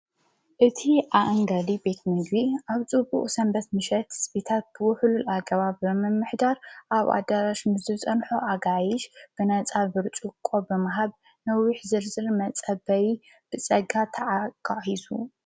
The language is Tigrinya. እቲ ኣእንጋዲ ቤት ምግብ ኣብ ፁብቅኡ ሰንበት ምሸት ስቢታት ብ ውህሉል ኣገባ ብ ምኅዳር ኣብ ኣዳራሽ ምስ ጸንሖ ኣጋይሽ ብነፃ ብርጭቆ ብምሃብ ንዊሕ ዝርዝር መጸ በይ ብጸጋ ተካሕሱ።